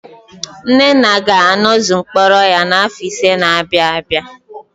Nnenna ga-anọzu mkpọrọ ya n'afọ ise na-abịa abịa.